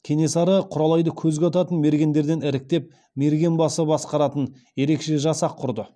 кенесары құралайды көзге ататын мергендерден іріктеп мергенбасы басқаратын ерекше жасақ құрды